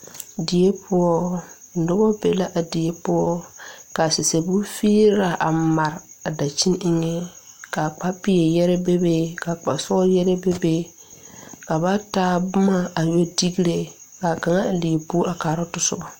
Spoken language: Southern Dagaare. Die poɔ nobɔ be la a die poɔ ka sɛseɛ bon figraa a mare a dankyine eŋɛ ka kpa peɛr yɛrɛ bebe ka kpa sɔɔl yɛrɛ bebe ka ba taa boma a yɛ digre kaa kaŋ a leɛ bo a kaaroo tɔsobɔ.